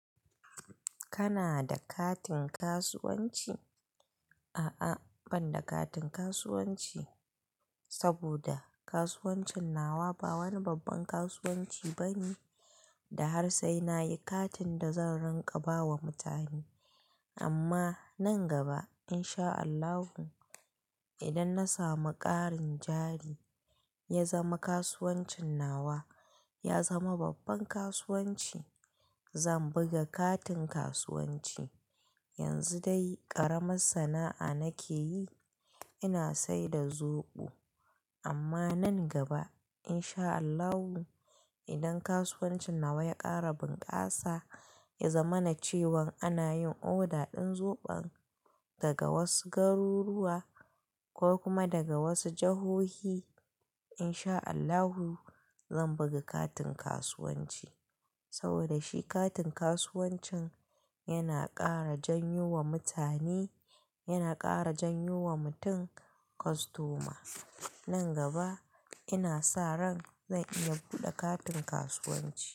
Kana da katin kasuwanci? A'a, ban da katin kasuwanci. Saboda kasuwancin nawa ba wani babban kasuwanci bane. Da har sai nayi katin da zan rinƙa bawa mutane. Amma nan gaba in sha Allahu, idan na samu ƙarin jari, ya zama kasuwancin nawa ya zama babban kasuwanci, zan buga katin kasuwanci. Yanzu dai ƙaramin sana'a nake yi. Ina saida zoɓo. Amma nan gaba in sha Allahu, idan kasuwancin nawa ya ƙara bunƙasa, ya zama na cewan ana yin order din zoɓon daga wasu garuruwa ko kuma daga wasu jahohi. In sha Allahu zan buga katin kasuwanci. Saboda shi katin kasuwancin yana ƙara janyo wa mutane, yana ƙara janyo wa mutum kostoma. Nan gaba ina sa ran zan iya buɗe katin kasuwanci.